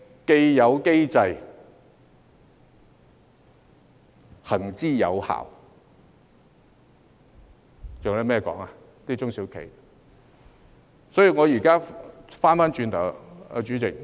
"既有機制，行之有效"，中小企還有甚麼好說呢？